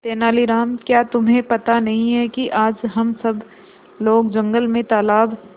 तेनालीराम क्या तुम्हें पता नहीं है कि आज हम सब लोग जंगल में तालाब